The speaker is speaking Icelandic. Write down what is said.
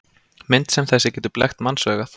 Mynd sem þessi getur blekkt mannsaugað.